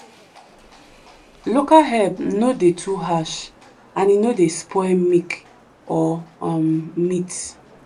local herb no dey too harsh and e no dey spoil milk or um meat.